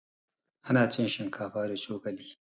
Ana cin shinkafa da cokali